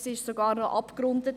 Es ist sogar abgerundet.